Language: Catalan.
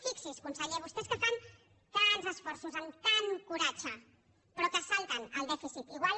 fixi’s conseller vostès que fan tants esforços amb tant coratge però que es salten el dèficit igual